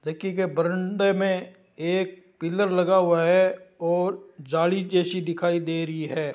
देखि के बरमंडे में एक पिलर लगा हुआ है और जाली जैसी दिखाई दे रही है।